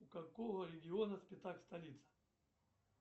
у какого региона спитак столица